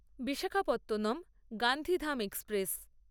Visakhapatnam Gandhidham express